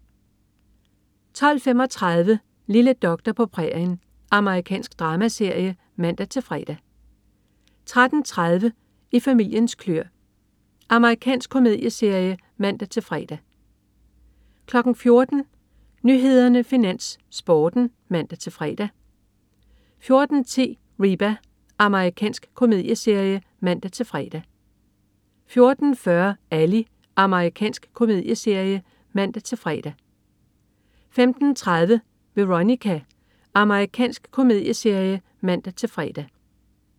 12.35 Lille doktor på prærien. Amerikansk dramaserie (man-fre) 13.30 I familiens kløer. Amerikansk komedieserie (man-fre) 14.00 Nyhederne, Finans, Sporten (man-fre) 14.10 Reba. Amerikansk komedieserie (man-fre) 14.40 Ally. Amerikansk komedieserie (man-fre) 15.30 Veronica. Amerikansk komedieserie (man-fre)